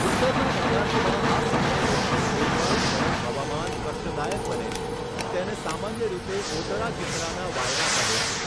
ઉત્તરના મેદાનોમાં આ સમયે રહેતું ભેજવાળું ગરમ હવામાન કષ્ટદાયક બને છે તેને સામાન્ય રીતે ઓતરા ચિતરાના વાયરા કહે છે.